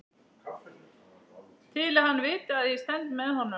Til að hann viti að ég stend með honum.